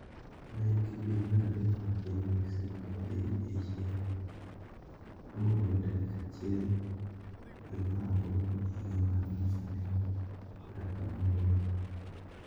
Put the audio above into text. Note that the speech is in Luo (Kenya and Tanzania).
Ma en kidieny mar adek ma piny mexico dhi eyiero moluwore tarik achiel due mar aboro higa mar alufu ariyo kod apar gaboro.